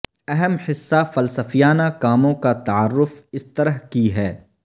اہم حصہ فلسفیانہ کاموں کا تعارف اس طرح کی ہے